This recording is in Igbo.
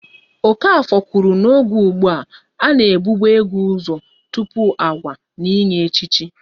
Okafor kwuru n'oge ụgbụa, a na e bube ego ụzọ tụpụ agwa n'inye echichi